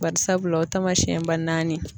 Bari sabula o tamasiyɛnba naani